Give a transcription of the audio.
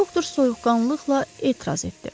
Doktor soyuqqanlıqla etiraz etdi.